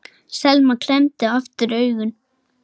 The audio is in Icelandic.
Selma klemmdi aftur augun.